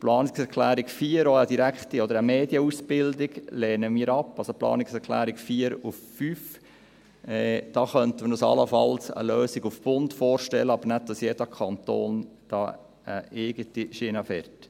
Die Planungserklärung 4 betreffend eine Medienausbildung lehnen wir ab, das heisst die Planungserklärungen 4 und 5. Wir könnten uns hier allenfalls eine Lösung auf Bundesebene vorstellen, aber nicht, dass jeder Kanton eine eigene Schiene fährt.